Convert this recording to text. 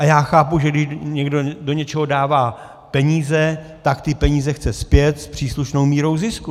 A já chápu, že když někdo do něčeho dává peníze, tak ty peníze chce zpět s příslušnou mírou zisku.